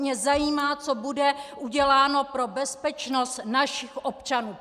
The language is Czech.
Mě zajímá, co bude uděláno pro bezpečnost našich občanů!!